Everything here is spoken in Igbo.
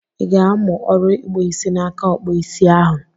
Ị ga-amụ ọrụ ịkpụ isi n'aka Ọkpụụ isi ahụ?